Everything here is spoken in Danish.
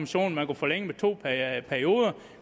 så man kunne forlænge med to perioder